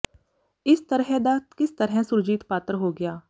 ਇਸ ਤਰਹ ਦਾ ਕਿਸ ਤਰਹ ਸੁਰਜੀਤ ਪਾਤਰ ਹੋ ਗਿਆ